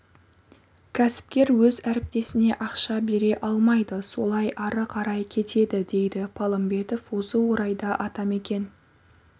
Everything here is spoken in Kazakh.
кәсіпкер өз әріптесіне ақша бере алмайды солай ары қарай кетеді дейді палымбетов осы орайда атамекен